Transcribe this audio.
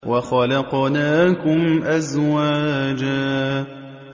وَخَلَقْنَاكُمْ أَزْوَاجًا